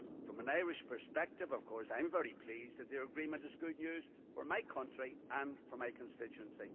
From an Irish perspective, of course, I am very pleased, and the agreement is good news for my country and for my constituency.